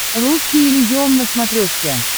русский иллюзион на смотрешке